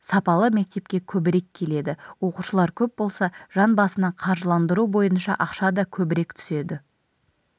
сапалы мектепке көбірек келеді оқушылар көп болса жан басына қаржыландыру бойынша ақша да көбірек түседі